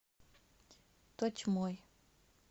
тотьмой